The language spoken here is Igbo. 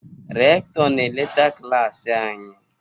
Rektọr na-eleta klas anyị.